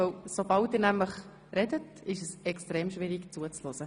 Denn sobald Sie untereinander reden, wird es sehr schwierig, hier zuzuhören.